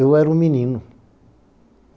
Eu era um menino.